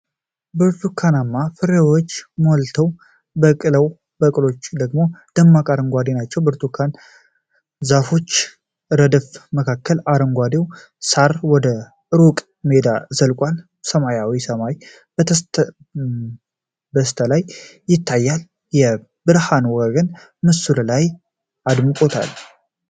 ብርቱካናማ ፍሬዎች ሞልተው በቅለዋል፤ ቅጠሎቹ ደግሞ ደማቅ አረንጓዴ ናቸው። በብርቱካን ዛፎች ረድፍ መካከል፣ አረንጓዴው ሳር ወደ ሩቅ ሜዳው ዘልቋል። ሰማያዊው ሰማይ በስተላይ ይታያል፤ የብርሃን ወጋገን ምስሉን አድምቆታል።